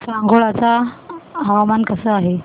सांगोळा चं हवामान कसं आहे